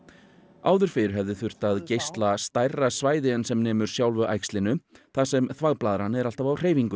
áður fyrr hefði þurft að geisla stærra svæði en sem nemur sjálfu þar sem þvagblaðran er alltaf á hreyfingu